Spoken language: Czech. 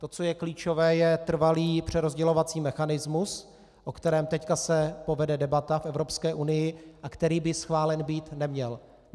To, co je klíčové, je trvalý přerozdělovací mechanismus, o kterém se teď povede debata v Evropské unii a který by schválen být neměl.